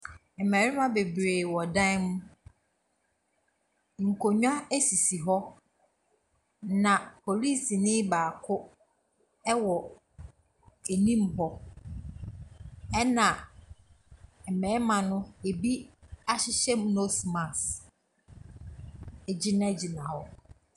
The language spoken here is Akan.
Mmarima bebiri wɔ dan mu nkonnwa sisi hɔ na polisini baako ɛwɔ anim ɛna mmarima bi ahyehyɛ nose mask ɛgyina gyina hɔ.